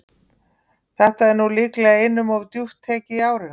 Þetta er nú líklega einum of djúpt tekið í árina.